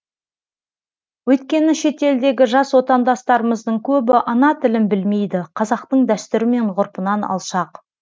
өйткені шетелдегі жас отандастарымыздың көбі ана тілін білмейді қазақтың дәстүрі мен ғұрпынан алшақ